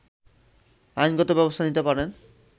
আইনগত ব্যবস্থা নিতে পারেন